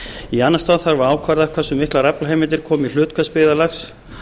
í annan stað þarf að ákvarða hversu miklar aflaheimildir komi í hlut hvers byggðarlags